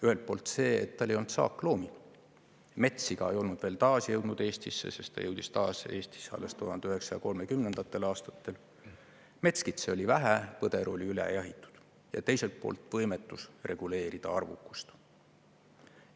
Ühelt poolt see, et tal ei olnud saakloomi – metssiga ei olnud veel taasjõudnud Eestisse, sest ta jõudis taas Eestisse alles 1930. aastatel, metskitsi oli vähe, põder oli üle jahitud –, ja teiselt poolt võimetus reguleerida hundi arvukust.